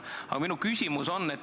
Aga minu küsimus on see.